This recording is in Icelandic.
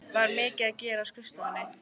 Var mikið að gera á skrifstofunni?